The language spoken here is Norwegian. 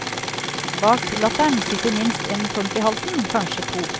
Bak latteren sitter minst en klump i halsen, kanskje to.